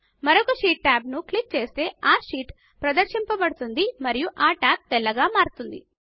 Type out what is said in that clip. మరొక sheet tab ను click చేస్తే ఆ షీట్ ప్రదర్శింపబడుతుంది మరియు ఆ టాబ్ తెల్లగా మారుతుంది